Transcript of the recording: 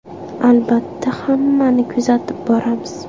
Albatta, hammani kuzatib boramiz.